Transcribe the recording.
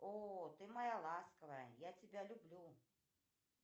о ты моя ласковая я тебя люблю